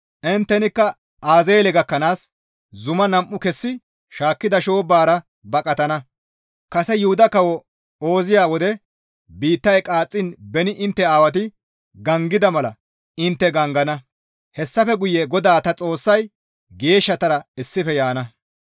Inttenikka Azeele gakkanaas zuma tani nam7u kessi shaakkida shoobbara baqatana; kase yuhuda kawo Ooziya wode biittay qaaxxiin beni intte aawati gangida mala intte gangana; hessafe guye GODAA ta Xoossay geeshshatara issife yaana.